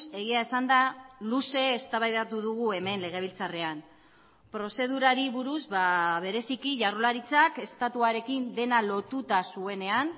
egia esanda luze eztabaidatu dugu hemen legebiltzarrean prozedurari buruz bereziki jaurlaritzak estatuarekin dena lotuta zuenean